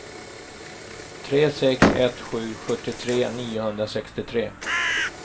tre sex ett sju sjuttiotre niohundrasextiotre